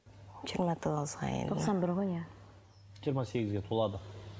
жиырма тоғыз тоқсан бір ғой иә жиырма сегізге толады